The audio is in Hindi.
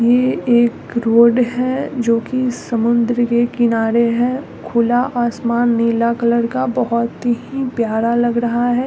यहाँ एक रोड है जोकी समुंदर के किनारे है खुला आसमान नीला कलर का बोहोत ही प्यारा लग रहा है।